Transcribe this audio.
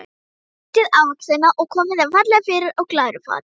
Brytjið ávextina og komið þeim fallega fyrir á glæru fati.